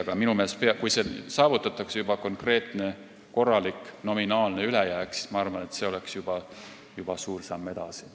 Ma arvan, et kui saavutataks konkreetne korralik nominaalne ülejääk, siis see oleks juba suur samm edasi.